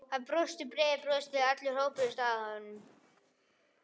Hann brosti breiðu brosi þegar allir hópuðust að honum.